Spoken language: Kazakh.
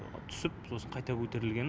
түсіп сосын қайта көтерілгені